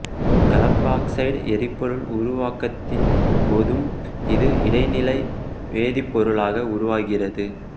கலப்புஆக்சைடு எரிபொருள் உருவாக்கத்தின் போதும் இது இடைநிலை வேதிப்பொருளாக உருவாகிறது